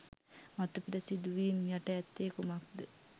මතුපිට සිදුවීම් යට ඇත්තේ කුමක් ද?